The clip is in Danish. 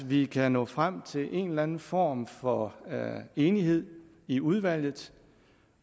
vi kan nå frem til en eller anden form for enighed i udvalget